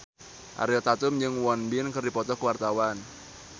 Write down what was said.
Ariel Tatum jeung Won Bin keur dipoto ku wartawan